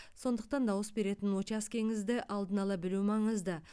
сондықтан дауыс беретін учаскеңізді алдын ала білу маңызды